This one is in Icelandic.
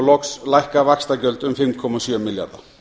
loks lækka vaxtagjöld um fimm komma sjö milljarða